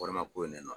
Wari ma ko ne nɔ